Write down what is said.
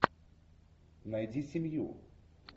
найди семью